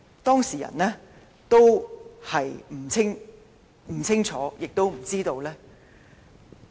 當事人對此不會清楚，也不會知道。